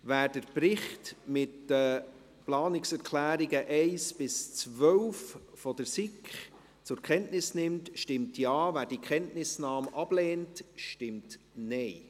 Wer den Bericht mit den Planungserklärungen 1–12 der SiK zur Kenntnis nimmt, stimmt Ja, wer die Kenntnisnahme ablehnt, stimmt Nein.